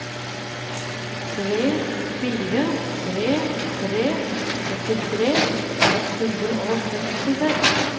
tre fire tre tre førtitre ett hundre og sekstiseks